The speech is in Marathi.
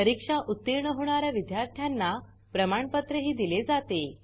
परीक्षा उतीर्ण होणा या विद्यार्थ्यांना प्रमाणपत्रही दिले जाते